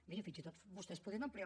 miri fins i tot vostès podrien ampliar